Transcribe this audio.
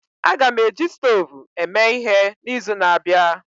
Aga m eji stovu eme ihe n'izu na-abịa